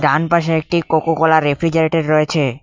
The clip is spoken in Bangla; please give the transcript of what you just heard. ডান পাশে একটি কোকোকোলার রেফ্রিজারেটর রয়েছে।